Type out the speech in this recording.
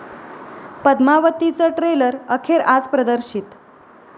पद्मावती'चं trailer अखेर आज प्रदर्शित